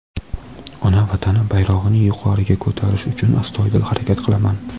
ona vatanim bayrog‘ini yuqoriga ko‘tarish uchun astoydil harakat qilaman.